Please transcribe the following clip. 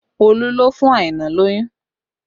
Olu ló fún Aina lóyún